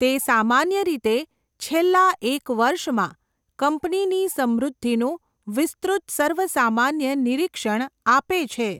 તે સામાન્ય રીતે છેલ્લા એક વર્ષમાં કંપનીની સમૃદ્ધિનું વિસ્તૃત સર્વસામાન્ય નિરીક્ષણ આપે છે.